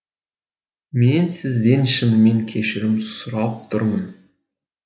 мен сізден шынымен кешірім сұрап тұрмын